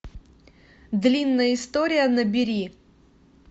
длинная история набери